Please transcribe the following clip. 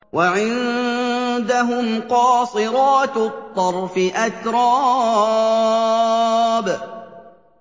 ۞ وَعِندَهُمْ قَاصِرَاتُ الطَّرْفِ أَتْرَابٌ